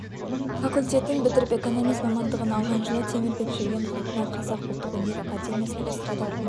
факультетін бітіріп экономист мамандығын алған жылы темірбек жүргенов атындағы қазақ ұлттық өнер академиясының эстрадалық өнер